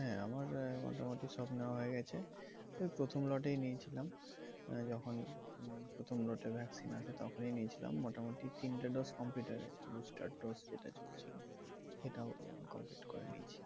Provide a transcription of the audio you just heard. হ্যাঁ আমার আহ মোটামুটি সব নেওয়া হয়ে গেছে। ওই প্রথম lot এই নিয়েছিলাম। আহ যখন উম প্রথম lot এর vaccine আসে তখনই নিয়েছিলাম। মোটামুটি তিনটে dose complete হয়ে গেছে। booster dose যেটা চলছিল সেটাও complete করে নিয়েছি।